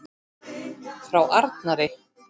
Frá Arnari?